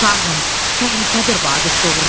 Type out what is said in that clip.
Şahım, təhlükədir Vaqif doğurdan.